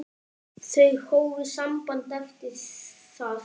Þau hófu samband eftir það.